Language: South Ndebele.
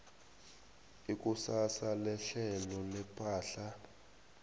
ikusasa lehlelo lepahla